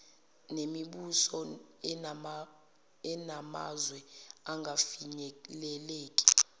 nemibuso enamazwe angafinyeleleki